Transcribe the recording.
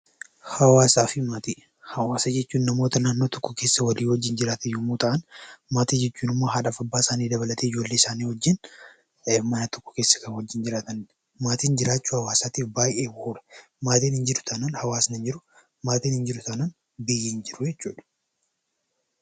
Hawaasa jechuun namoota naannoo tokko keessa walii wajjin jiraatan yommuu ta'an, maatii jechuun immoo haadhaaf abbaa isaanii dabalatee ijoollee isaanii wajjin mana tokko keessa kan waliin jiraatanidha. Maatiin jiraachuu hawaasaatiif oolu. Maatiin hin jiru taanaan hawaasni hin jiru. Maatiin hin jiru taanaan biyyi hin jiru jechuudha.